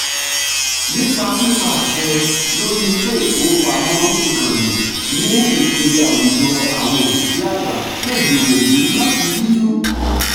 nípa pípa àṣẹ lórí ilé-ifowopamọ ìkànnì ní ipele àwùjọ àwọn òṣìṣẹ́ àgbà lè gbìyànjú láti yíjú